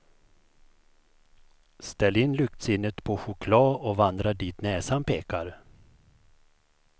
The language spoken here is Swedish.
Ställ in luktsinnet på choklad och vandra dit näsan pekar.